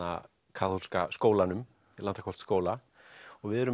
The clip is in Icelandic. kaþólska skólanum Landakotsskóla við erum